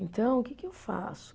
Então, o que que eu faço?